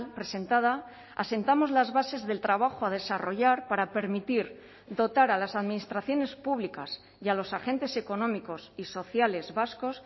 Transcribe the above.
presentada asentamos las bases del trabajo a desarrollar para permitir dotar a las administraciones públicas y a los agentes económicos y sociales vascos